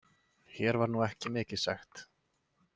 Hér var nú ekki mikið sagt.